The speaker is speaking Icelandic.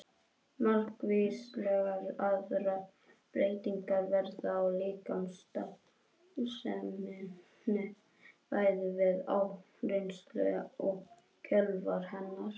Margvíslegar aðrar breytingar verða á líkamsstarfseminni bæði við áreynslu og í kjölfar hennar.